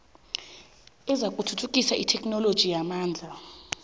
ezakuthuthukisa itheknoloji yamalimi